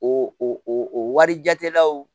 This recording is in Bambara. O o wari jatelaw